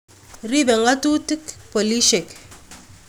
ripe ngatutik polishek